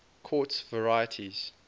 quartz varieties